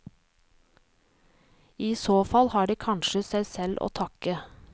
I så fall har de kanskje seg selv å takke.